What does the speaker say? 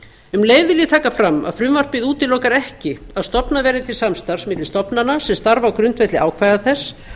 um leið vil ég taka fram að frumvarpið útilokar ekki að stofnað verði til samstarfs milli stofnana sem starfa á grundvelli ákvæða þess